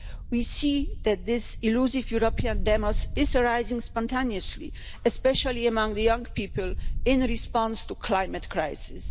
We see that this elusive European demos is arising spontaneously, especially among the young people in response to the climate crisis.